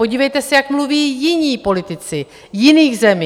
Podívejte se, jak mluví jiní politici jiných zemí.